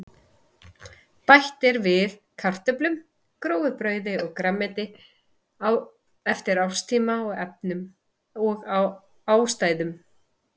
Bætt er við kartöflum, grófu brauði og grænmeti eftir árstíma og efnum og ástæðum.